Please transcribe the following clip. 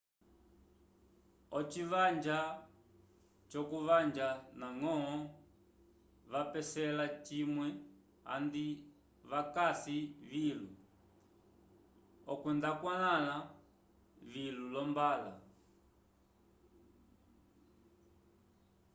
oci vanja jokuvanja na ngo vapesela vimwe andi vakasi vilu okwenda okwanla vilu lombalaw